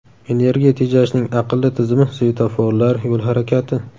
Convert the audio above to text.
Energiya tejashning aqlli tizimi, svetoforlar, yo‘l harakati.